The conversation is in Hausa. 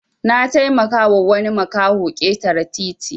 Nataimaka wa wani makaho ketare titi